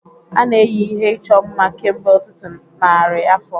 A na-eyi ihe ịchọ mma kemgbe ọtụtụ narị afọ.